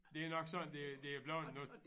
Det er nok sådan det det er bleven nu